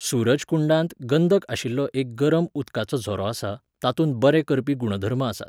सूरजकुंडांत गंदक आशिल्लो एक गरम उदकाचो झरो आसा, तातूंत बरे करपी गुणधर्म आसात.